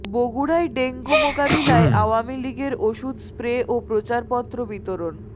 বগুড়ায় ডেঙ্গু মোকাবিলায় আওয়ামী লীগের ওষুধ স্প্রে ও প্রচারপত্র বিতরণ